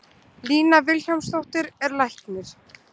Lína Vilhjálmsdóttir er læknir.